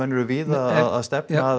eru víða að stefna að